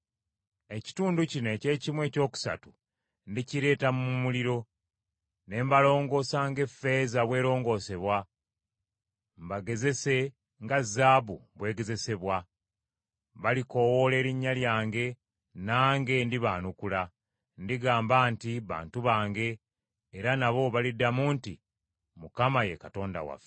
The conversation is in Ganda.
Ekitundu kino eky’ekimu ekyokusatu ndikireeta mu muliro, ne mbalongoosa ng’effeeza bw’erongoosebwa mbagezese nga zaabu bw’egezesebwa. Balikoowoola erinnya lyange nange ndibaanukula. Ndigamba nti, ‘Bantu bange,’ era nabo baliddamu nti, ‘ Mukama ye Katonda waffe.’ ”